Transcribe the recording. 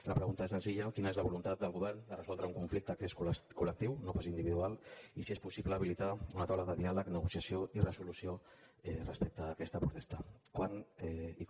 la pregunta és senzilla quina és voluntat del govern de resoldre un conflicte que és col·lectiu no pas individual i si és possible habilitar una taula de diàleg negociació i resolució respecte a aquesta protesta quan i com